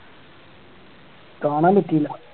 കാണാൻ പറ്റിയില്ല